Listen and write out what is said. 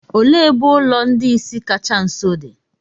òle ebe ulo ndi-ìsì kacha nso di?